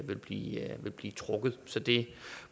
vil blive vil blive trukket så det